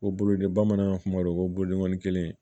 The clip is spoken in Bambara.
O bolo de bamanan kuma dɔ ko bolodengɔnnin kelen